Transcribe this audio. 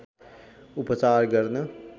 उपचार गर्न